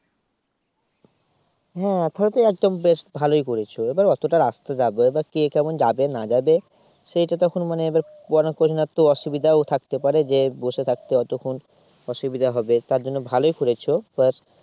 হ্যাঁ সে তো একদম বেশ ভালই করেছো এবার অর্থটা রাস্তা যাবে এবার কে কেমন যাবে বা না যাবে সেটা তো এখন মানে এবার অসুবিধাও থাকতে পারে যে বসে থাকতে অতক্ষণ অসুবিধা হবে তার জন্য ভালই করেছো